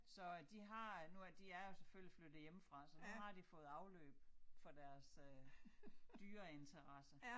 Så de har øh nu er de er jo selvfølgelig flyttet hjemmefra så nu har de fået afløb for deres øh dyreinteresse